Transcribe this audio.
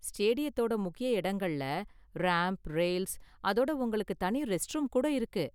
ஸ்டேடியத்தோட முக்கிய இடங்கள்ல ramp, rails, அதோட உங்களுக்கு தனி ரெஸ்ட்ரூம் கூட இருக்கு.